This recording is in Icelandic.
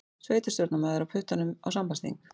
Sveitarstjórnarmaður á puttanum á sambandsþing